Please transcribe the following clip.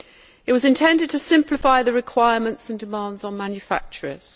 It was intended to simplify the requirements and demands on manufacturers.